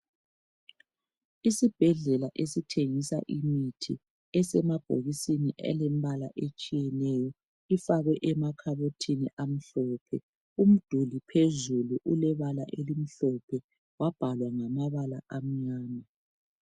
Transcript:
Isibhedlela esithengisa imithi esemabhokisini elembala etshiyeneyo ifakwe emakhabothini amhlophe. Umduli phezulu ulebala elimhlophe wabhalwa ngamabala amnyama.